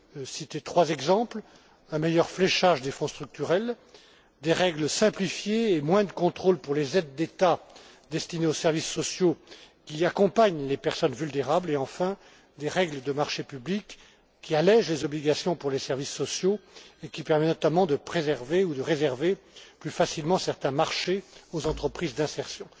citer trois exemples un meilleur fléchage des Fonds structurels, des règles simplifiées et moins de contrôles pour les aides d'État destinées aux services sociaux qui accompagnent les personnes vulnérables et enfin des règles de marchés publics qui allègent les obligations pour les services sociaux et qui permettent, notamment, de préserver ou de réserver plus facilement certains marchés aux entreprises d'insertion.